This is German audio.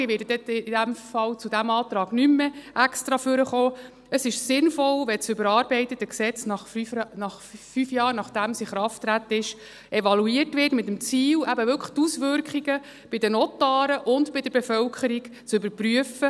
ich werde dann in diesem Fall zu diesem Antrag nicht mehr extra nach vorne kommen –, wenn das überarbeitete Gesetz fünf Jahre, nachdem es in Kraft getreten ist, evaluiert wird, mit dem Ziel, eben wirklich die Auswirkungen bei den Notaren und bei der Bevölkerung zu überprüfen.